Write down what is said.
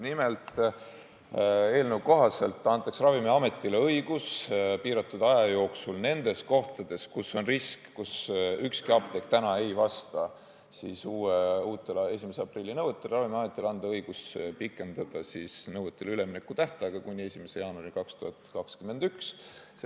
Nimelt, eelnõu kohaselt antaks Ravimiametile õigus piiratud aja jooksul nendes kohtades, kus on risk – kus täna ükski apteek ei vasta uutele, 1. aprillil kehtima hakkavatele nõuetele –, pikendada üleminekutähtaega kuni 1. jaanuarini 2021.